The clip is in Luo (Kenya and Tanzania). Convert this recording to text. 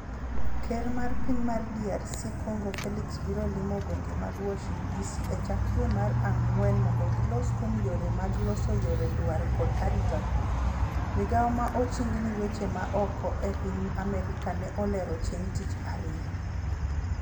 Ker mar piny mar DRC Congo Felix biro limo gwenge mag Warshington Dc e chak dwe mar ang'wen mondo gilos kuom yore mag loso yore dwar kod arita kwe, migawo ma oching' ni weche ma oko e piny America ne olero chieng tich ariyo